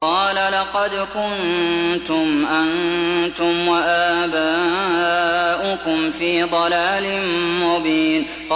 قَالَ لَقَدْ كُنتُمْ أَنتُمْ وَآبَاؤُكُمْ فِي ضَلَالٍ مُّبِينٍ